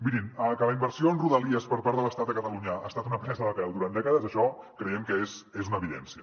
mirin que la inversió en rodalies per part de l’estat a catalunya ha estat una presa de pèl durant dècades això creiem que és una evidència